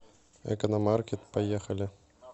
экономаркет поехали